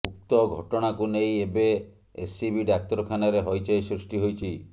ଉକ୍ତ ଘଟଣାକୁ ନେଇ ଏବେ ଏସ୍ସିବି ଡାକ୍ତରଖାନାରେ ହଇଚଇ ସୃଷ୍ଟି ହୋଇଛି